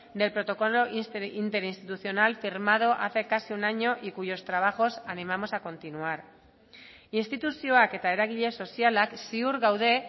del protocolo interinstitucional firmado hace casi un año y cuyos trabajos animamos a continuar instituzioak eta eragile sozialak ziur gaude